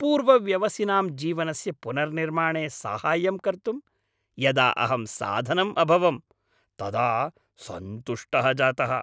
पूर्वव्यसनिनां जीवनस्य पुनर्निर्माणे साहाय्यं कर्तुं यदा अहं साधनम् अभवम् तदा सन्तुष्टः जातः।